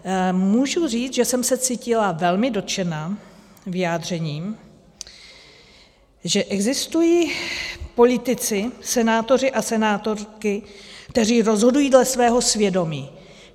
Můžu říct, že jsem se cítila velmi dotčena vyjádřením, že existují politici, senátoři a senátorky, kteří rozhodují dle svého svědomí.